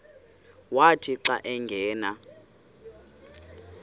wathi xa angena